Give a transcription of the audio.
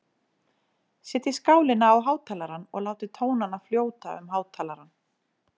Setjið skálina á hátalarann og látið tónana fljóta um hátalarann.